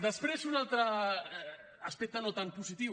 després un altre aspecte no tan positiu